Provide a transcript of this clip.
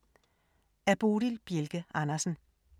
Af Bodil Bjelke Andersen